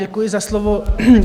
Děkuji za slovo.